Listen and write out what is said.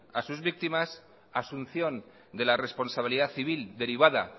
a sus víctimas asunción de la responsabilidad civil derivada